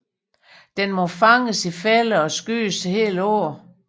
Den må fanges i fælder og skydes hele året